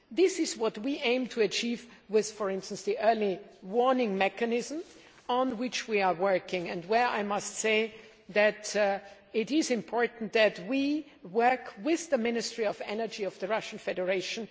This is what we aim to achieve with, for instance, the Early Warning Mechanism on which we are working and where it is important that we work with the Ministry of Energy of the Russian Federation.